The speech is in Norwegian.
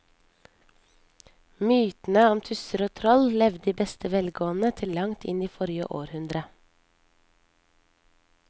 Mytene om tusser og troll levde i beste velgående til langt inn i forrige århundre.